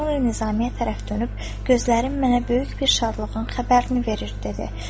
Sonra Nizami tərəf dönüb, gözlərim mənə böyük bir şadlığın xəbərini verir dedi.